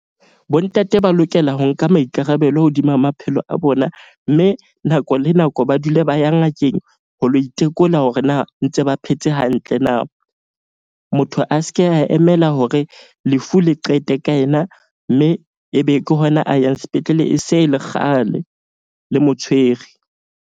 Bontate ba lokela ho nka maikarabelo hodima maphelo a bona. Mme nako le nako ba dule ba ya ngakeng ho lo itekola hore na ntse ba phetse hantle na. Motho a ske a emela hore lefu le qete ka yena, mme ebe ke hona a yang sepetlele e se e le kgale le mo tshwere.